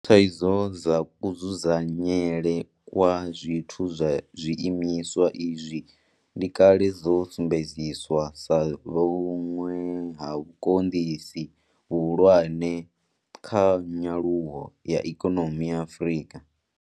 Thaidzo dza kudzudzanyelwe kwa zwithu kha zwiimiswa izwi ndi kale dzo sumbedziswa sa vhuṅwe ha vhukonḓisi vhuhulwane kha nyaluwo ya ikonomi ya Afrika.